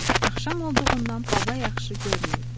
Çünki axşam olduğundan baba yaxşı görmürdü.